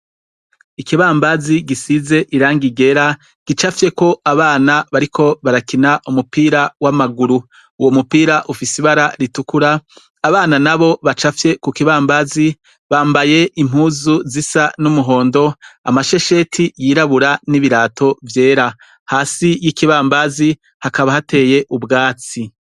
Ikibambazi gisize irangi rera gicapfyeko abana bariko barakina umupira w'amaguru. Uwomupira ufise ibara ritukura, abana nabo bacapfye kukibambazi bambaye impuzu zisa n'umuhondo, amashesheti yirabura n'ibirato vyera. Hasi y'ikibambazi hakaba hateye ubwatsi.